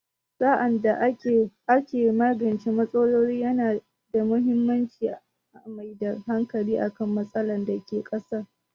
Sa'ad da ake magance matsaloli, yana da muhimmanci a mai da hankali kan matsalar da ke ƙasa